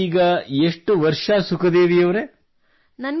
ತಮಗೆ ಈಗ ಎಷ್ಟು ವರ್ಷ ಸುಖದೇವಿಯವರೇ